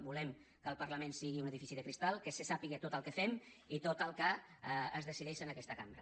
volem que el parlament sigui un edifici de cristall que se sàpiga tot el que fem i tot el que es decideix en aquesta cambra